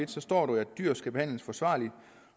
der står dyr skal behandles forsvarligt